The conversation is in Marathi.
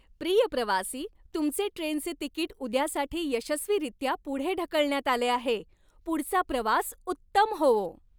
प्रिय प्रवासी, तुमचे ट्रेनचे तिकीट उद्यासाठी यशस्वीरित्या पुढे ढकलण्यात आले आहे. पुढचा प्रवास उत्तम होवो!